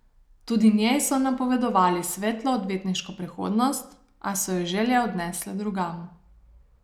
Tudi njej so napovedovali svetlo odvetniško prihodnost, a so jo želje odnesle drugam.